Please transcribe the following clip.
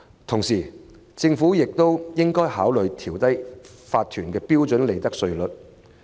同時，政府亦應考慮調低法團的標準利得稅率。